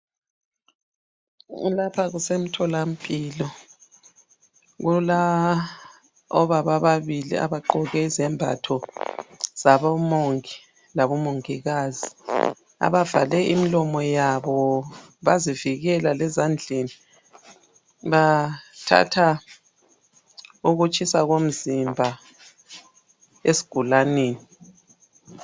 Lapha kusemtholampilo. Kulabobaba ababili abagqoke izembatho zabomongi labomongikazi abavale imilomo yabo bazivikela lezandleni. Bathatha ukutshisa komzimba esigulaneni.